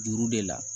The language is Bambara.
Juru de la